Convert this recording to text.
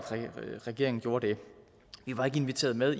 regeringen gjorde det vi var ikke inviteret med